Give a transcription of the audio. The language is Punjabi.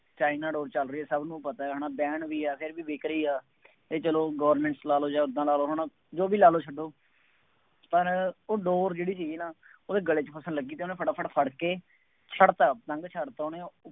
ਚਾਈਨਾ ਡੋਰ ਚੱਲ ਰਹੀ ਹੈ ਸਭ ਨੂੰ ਪਤਾ ਹੈ ਨਾ, banned ਵੀ ਹੈ, ਫੇਰ ਵੀ ਵਿਕ ਰਹੀ ਹੈ ਅਤੇ ਚੱਲੋ government ਲਾ ਲਉ ਜਾਂ ਉਦਾਂ ਲਾ ਲਉ ਹੈ ਨਾ, ਜੋ ਵੀ ਲਾ ਲਉ ਛੱਡੋ, ਪਰ ਉਹ ਡੋਰ ਜਿਹੜੀ ਸੀਗੀ ਨਾ ਉਹਦੇ ਗਲੇ ਚ ਫਸਣ ਲੱਗੀ ਸੀ ਅਤੇ ਉਹਨੇ ਫਟਾਫਟ ਫੜ ਕੇ ਛੱਡ ਤਾ ਪਤੰਗ ਛੱਡਤਾ ਉਹਨੇ